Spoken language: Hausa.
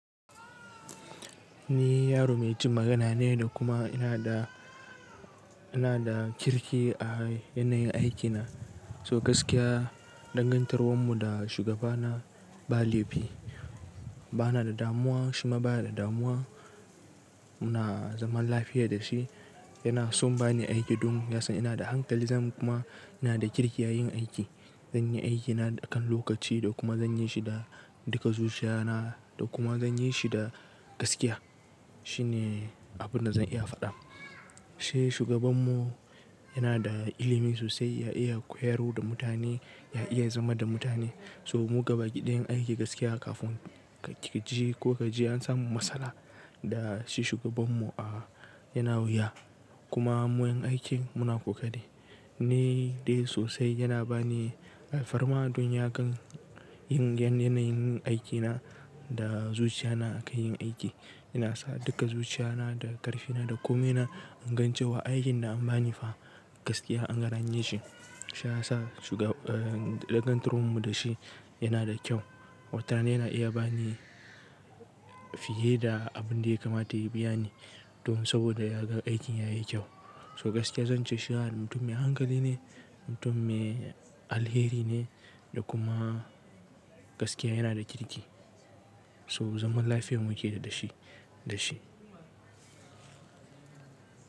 Ni yaro mai jin magana ne da kuma ina da, ina da kirki a yanayin aikina. So gaskiya dangantakar mu da shugaba na ba laifi. Ba ni da damuwa, shi ma ba ya da damuwa. Muna zaman lafiya da shi. Yana son ba ni aiki don ya san ina da hankali, zan kuma ina da kirki a yin aiki. Zan yi aikina a kan lokaci da kuma zan yi shi da duka zuciya na da kuma zan yi shi da gaskiya. Shi ne abin da zan iya faɗa. Shi shugaban mu yana da ilimi sosai, ya iya koyarwa da mutane, ya iya zama da mutane. So mu gaba gidan aiki gaskiya kafin ka ji ko ka ji an samu matsala da shi shugaban mu, yana wuya. Kuma mu yan aiki muna ƙoƙari. Ni dai sosai yana ba ni alfarma don ya ga irin yanayin aiki na da zuciya na a kan yin aiki. Yana sa duka zuciya na da ƙarfi na da komai na in gani cewa aikin da an bani fa gaskiya na ga na yi shi. Shiyasa dangantakar mu da shi yana da kyau. Wata rana yana iya ba ni fiye da abin da ya kamata ya biya ni don saboda ya ga aikin ya yi kyau. So gaskiya zan ce shi yana nan mutum mai hankali ne, mutum mai alheri ne da kuma gaskiya yana da kirki. So zaman lafiyar mu yake da shi, da shi.